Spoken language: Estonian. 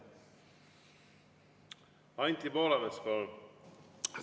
Anti Poolamets, palun!